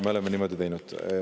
Me oleme niimoodi teinud.